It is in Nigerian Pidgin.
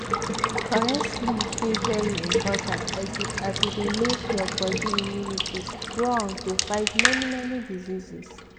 correct sleep dey very important as e dey make your body immunity strong to fight many many diseases.